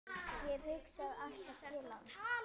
Ég hugsa alltaf til hans.